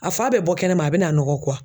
A f'a bɛ bɔ kɛnɛma a bɛna nɔgɔ